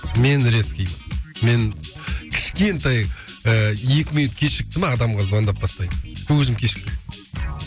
мен резкий мен кішкентай ыыы екі минут кешікті ме адамға звондап тастаймын но өзім кешікпеймін